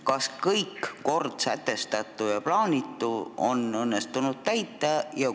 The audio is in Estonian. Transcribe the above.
Kas kõik kord sätestatu ja plaanitu on õnnestunud täita?